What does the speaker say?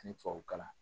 Ani tubabu kalan